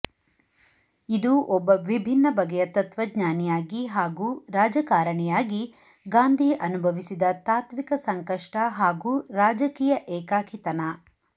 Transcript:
ಇದು ಒಬ್ಬ ವಿಭಿನ್ನ ಬಗೆಯ ತತ್ವಜ್ಞಾನಿಯಾಗಿ ಹಾಗೂ ರಾಜಕಾರಣಿಯಾಗಿ ಗಾಂಧಿ ಅನುಭವಿಸಿದ ತಾತ್ವಿಕ ಸಂಕಷ್ಟ ಹಾಗೂ ರಾಜಕೀಯ ಏಕಾಕಿತನ